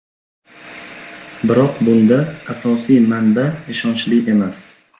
Biroq bunda asosiy manba ishonchli emas.